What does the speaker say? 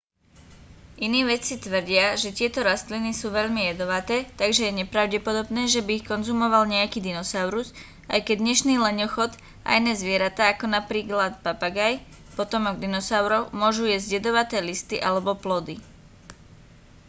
iní vedci tvrdia že tieto rastliny sú veľmi jedovaté takže je nepravdepodobné že by ich konzumval nejaký dinosaurus aj keď dnešný leňochod a iné zvieratá ako napríklad papagáj potomok dinosaurov môžu jesť jedovaté listy alebo plody